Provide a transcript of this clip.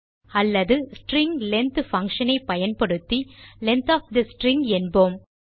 அல்லது string length function ஐ பயன்படுத்தி லெங்த் ஒஃப் தே ஸ்ட்ரிங் என்போம்